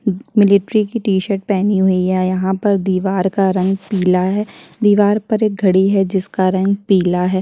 Military की T shirt पहनी हुई है यहाँ पर दीवार का रंग पीला है दीवार पर घड़ी है जिसका रंग पीला है।